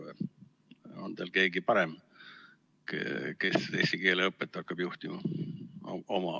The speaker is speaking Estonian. On teil oma ridadest võtta keegi parem, kes eesti keele õpet hakkab juhtima?